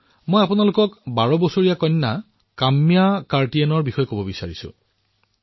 মই আপোনালোকৰ সৈতে বাৰ বছৰীয়া কন্যা কাম্যা কাৰ্তিকেয়নৰ উপলব্ধিৰ কথা নিশ্চয়কৈ আলোচনা কৰিব বিচাৰিম